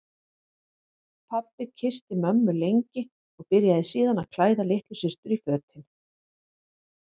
Pabbi kyssti mömmu lengi og byrjaði síðan að klæða litlu systur í fötin.